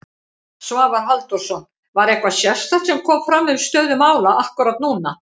Svavar Halldórsson: Var eitthvað sérstakt sem kom fram um stöðu mála akkúrat núna?